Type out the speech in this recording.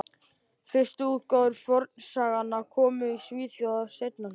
Fyrstu útgáfur fornsagnanna komu í Svíþjóð á seinna hluta